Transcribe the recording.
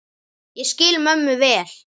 Ég skil mömmu vel.